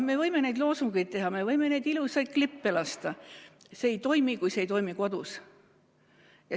Me võime neid loosungeid esitada, me võime neid ilusaid klippe lasta – see ei toimi, kui see ei toimi kodus.